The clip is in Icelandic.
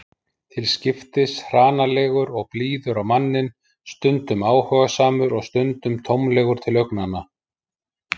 Til skiptis hranalegur og blíður á manninn, stundum áhugasamur og stundum tómlegur til augnanna.